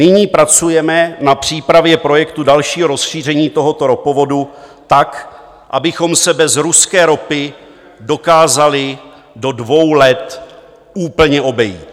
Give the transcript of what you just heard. Nyní pracujeme na přípravě projektu dalšího rozšíření tohoto ropovodu tak, abychom se bez ruské ropy dokázali do dvou let úplně obejít.